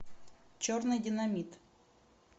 черный динамит